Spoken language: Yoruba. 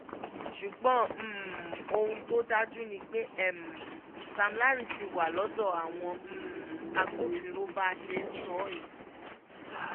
ṣùgbọ́n ohun tó dájú ni pé sam larry ti wà lọ́dọ̀ àwọn agbófinró bá a ṣe ń sọ yìí